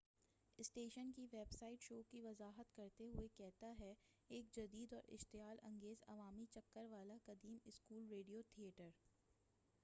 station کی website show کی وضاحت کرتے ہوئے کہتا ہے ایک جدید اور اشتعال انگیز عوامی چکر والا قدیم اسکول ریڈیو تھییٹر